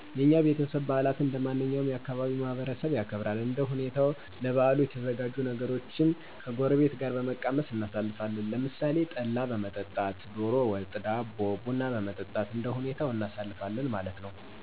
የኛ ቤተሰብ በዓላትን እንደማንኛውም የ ካባቢው ማህበረሰብ ያከብራል። እንደ ሁኔታዉ ለበዓሉ የተዘጋጁ ነገሮችን ከጎረቤት ጋር በመቀማመስ እናሣልፋለን። ለምሣሌ ጠላ በመጠጣት፣ ደሮ ወጥ፣ ዳቦ፣ ቡና በመጠጣት እንደሁኔታው እናሳልፋለን ማለት ነዉ።